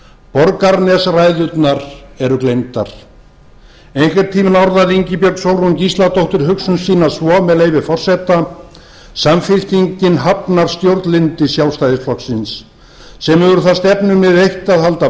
borgarnesræðurnar eru gleymdar ein hvern tímann orðaði ingibjörg sólrún gísladóttir hugsun sína svo með leyfi forseta samfylkingin hafnar stjórnlyndi sjálfstæðisflokksins sem hefur það stefnumið eitt að halda